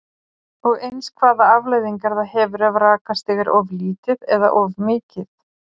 Og eins hvaða afleiðingar það hefur ef rakastig er of lítið eða of mikið?